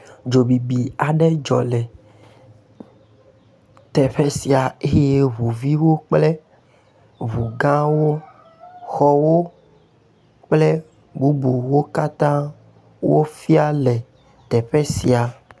Dzobibi aɖe dzɔ le, teƒe sia eye ŋu viwo kple ŋu gãwo, xɔwo kple bubuwo katã wofia le teƒe sia.